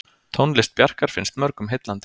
Tónlist Bjarkar finnst mörgum heillandi.